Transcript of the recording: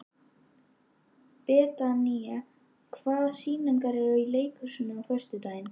Betanía, hvaða sýningar eru í leikhúsinu á föstudaginn?